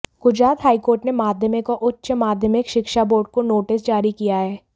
Gujarat high court ने माध्यमिक और उच्च माध्यमिक शिक्षा बोर्ड को नोटिस जारी किया है